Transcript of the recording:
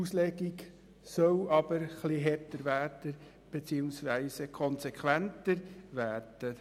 Die Auslegung soll aber etwas härter beziehungsweise konsequenter vorgenommen werden.